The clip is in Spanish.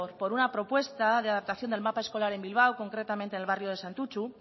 por una propuesta de adaptación del mapa escolar en bilbao concretamente el barrio de santutxu